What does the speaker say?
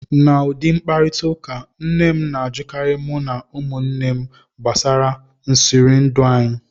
N' ụdị mkparịtaụka, nne m na-ajụkarị mụ na ụmụnne m gbasara nsirihụndụ anyị